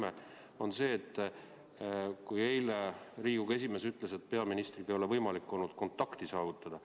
See on see, et eile Riigikogu esimees ütles, et peaministriga ei ole olnud võimalik kontakti saavutada.